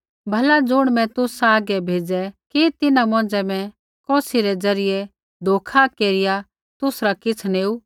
भला ज़ुण मैं तुसा हागै भेज़ै कि तिन्हां मौंझ़ै मैं कौसी रै द्वारा धोखा केरिया तुसरा किछ़ नेऊ सा